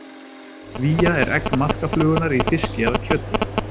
Vía er egg maðkaflugunnar í fiski eða kjöti.